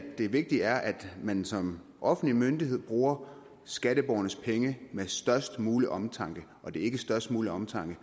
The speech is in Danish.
det vigtige er at man som offentlig myndighed bruger skatteborgernes penge med størst mulig omtanke og det er ikke størst mulig omtanke